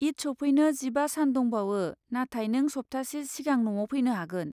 ईद सौफैनो जिबा सान दंबावो, नाथाय नों सप्तासे सिगां न'आव फैनो हागोन।